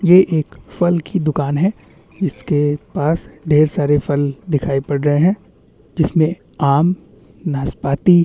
ये एक फल की दुकान है जिसके पास ढेर सारे फल दिखाई पड़ रहे है जिसमे आम नासपाती --